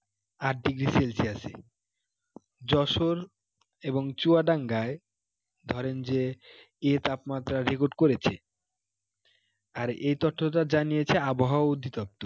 আট degree celsius এ যশোর এবং চুয়াডাঙ্গায় ধরেন যে এই তাপমাত্রা record করেছে, আর এই তথ্যটা জানিয়েছে আবহাওয়া অধিদপ্তর